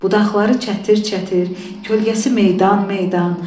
Budaqları çətir-çətir, kölgəsi meydan-meydan.